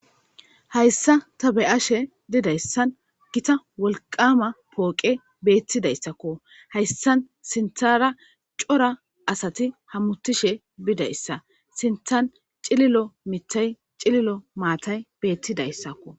Hayssa tha be7ashe dizayssan giththa wolqqaama pooqee beeththizayssakko; hayssan sinththaara cora asathi hamoththishe bidayssa; sinththan cililo miththay cililo maathay beeththidayssakko.